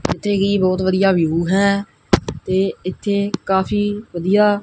ਜਿੱਥੇ ਕੀ ਬਹੁਤ ਵਧੀਆ ਵਿਊ ਹੈ ਤੇ ਇੱਥੇ ਕਾਫੀ ਵਧੀਆ--